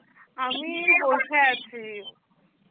আমি বসে আছি